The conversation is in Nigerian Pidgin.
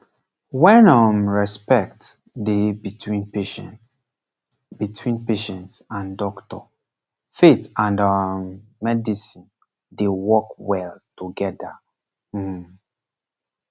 when um respect dey between patient between patient and doctor faith and um medicine dey work well together um